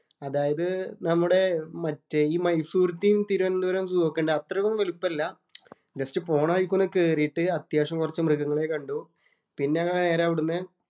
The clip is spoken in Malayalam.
അതായത് നമ്മടെ മറ്റേ ഈ മൈസൂറത്തെയും, തിരുവന്തപുരം സൂ ഒക്കെ ഒണ്ട്. അത്രയും വലിപ്പം ഇല്ല. ജസ്റ്റ് പോണവഴിക്ക് ഒന്ന് കേറിട്ടു അത്യാവശ്യം കൊറച്ചു മൃഗങ്ങളെ കണ്ടു. പിന്നെ അങ്ങു നേരെ അവിടുന്ന്